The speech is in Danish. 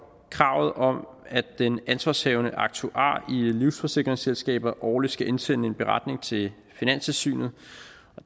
kravet om at den ansvarshavende aktuar i livsforsikringsselskaber årligt skal indsende en beretning til finanstilsynet